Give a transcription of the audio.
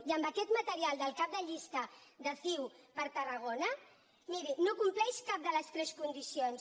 i amb aquest material del cap de llista de ciu per tarragona miri no compleix cap de les tres condicions